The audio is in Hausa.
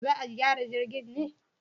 Za a gyara jirgin ne?